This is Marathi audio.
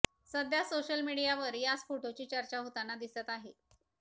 सध्या सोशल मीडियावर याच फोटोची चर्चा होताना दिसत आहे